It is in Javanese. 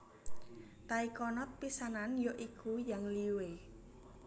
Taikonot pisanan ya iku Yang Liwei